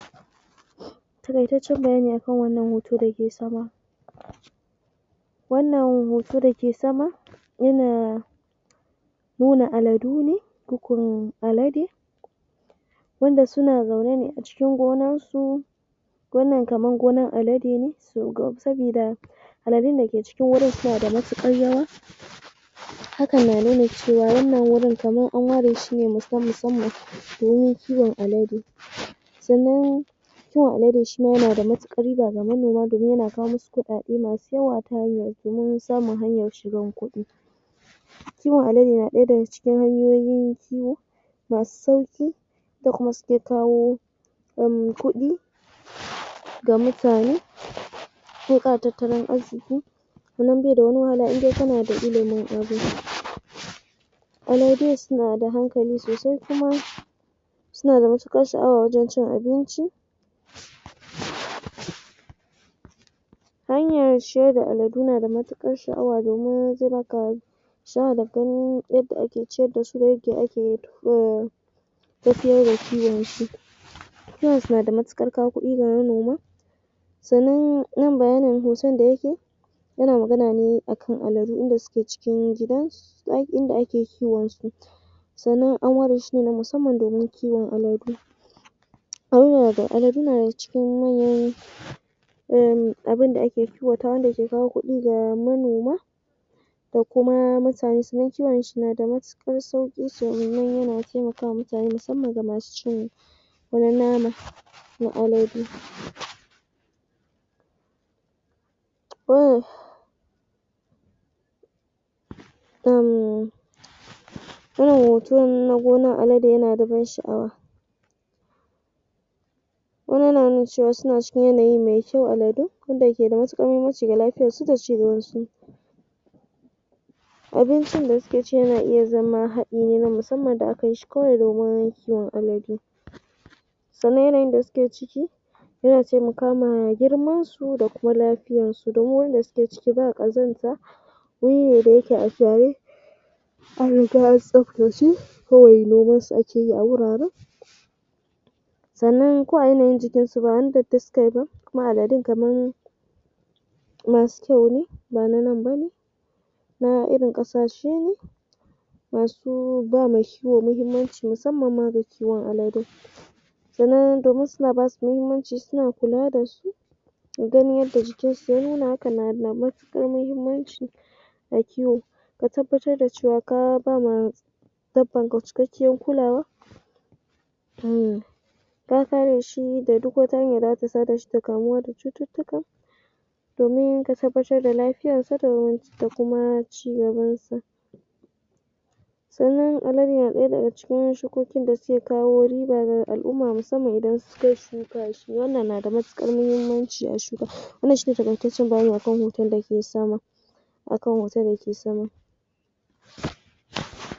Taƙaitaccen bayani a kan wannan hoto da yake sama. Wannan hoto da ke sama yana nuna aladu ne koko alade wanda suna zaune ne a cikin gonansu Wannan kaman gonan alade ne saboda aladun da ke cikin wurin suna da matuƙar yawa. Haka na nuna cewa wannan wurin kamar an ware shi ne musam na musamman domin kiwon alade. Sannan, kiwon alade shi ma yana da matuƙar riba ga manoma domin yana kawo musu kuɗaɗe masu yawa ta hanyar domin samun hanyan shigan kuɗi. Kiwon alade na ɗaya daga cikin hanyoyin kiwo masu sauƙi da kuma suke kawo um kuɗi da mutane da ƙara tattalin arziki, Sannan ba shi da wani wahala in dai kana da ilimin abin. Aladun suna da hankali sosai kuma suna da matuƙar sha'awa wajen cin abinci hanyar ciyar da aladu na matuƙar sha'awa domin zai ba ka sha'awa da ganin yadda ake ciyar da su da yadda ake umm tafiyar da kiwon su. Kiwonsu na da matuƙar kawo kuɗi ga manoma sannan nan bayanin hoton da yake yana magana ne a kan aladu inda suke cikin gidan inda ake kiwonsu. Sannan an ware shi ne musamman domin kiwon aladu. Aladu na daga cikin manyan umm abin da ake kiwatawa wanda yake kawo kuɗi ga manoma da kuma mutane kiwon shi nada matuƙar sauƙi domin yana taimaka wa mutanane musamman ga masu cin nama na alade. [ummm] Wannan hoton na gonan alade yana da ban sha'wa. Wannan yana nuna cewa suna cikin yanayi mai kyau aladun, wanda ke da matuƙar muhummanci ga lafiyarsu da cigabansu. Abincin da suke ci yana iya zama haɗi ne na musamman da aka yi shi kawai domin kiwon aladu. Sannan yanayin da suke ciki yana taimaka ma girmansu da kuma lafiyarsu domin wurin da suke ciki ba ƙazanta wuri ne da yake a gyare an riga an tsaftace kawai noman su a ke a wuraren. Sannan ko a yanayin jikinsu ba wani datti suka yi ba kuma aladun kaman masu kyau ne ba na nan ba ne na irin ƙasashe ne masu ba ma kiwo muhimmanci musamman ma ga kiwon alade. Sannan domin suna ba su muhimmanci suna kula da su don yadda jikinsu ya nuna hakan na da matuƙar muhimmanci a kiwo. Ka tabbatar da cewa ka ba ma dabbanka cikakkiyar kulawa umm ka kare shi da duk wata hanya da za ta sada shi da kamuwa da cututtuka domin ka tabbatar da lafiyarsa da kuma cigabansa. Sannan alade na ɗaya daga cikin shukokin da suke kawo riba ga al'umma musamman idan suka shuka shi wannan na da matuƙar muhimmanci a shuka. Wannan shi ne taƙaitaccen bayani a kan hoton da ke sama a kan hoton da ke sama.